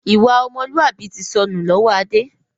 Ìwà ọmọlúwàbí tí sọnù lọ́wọ́ Adé